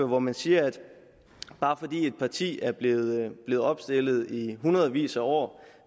hvor man siger at bare fordi et parti er blevet er blevet opstillet i hundredvis af år